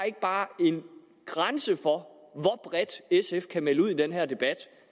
ikke bare en grænse hvor bredt sf kan melde ud i den her debat